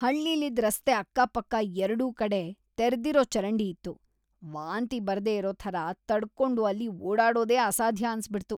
ಹಳ್ಳಿಲಿದ್‌ ರಸ್ತೆ ಅಕ್ಕಪಕ್ಕ ಎರ್ಡೂ ಕಡೆ ತೆರ್ದಿರೋ ಚರಂಡಿ ಇತ್ತು, ವಾಂತಿ ಬರ್ದೇ ಇರೋ ಥರ ತಡ್ಕೊಂಡು ಅಲ್ಲಿ ಓಡಾಡೋದೇ ಅಸಾಧ್ಯ ಅನ್ಸ್‌ಬಿಡ್ತು.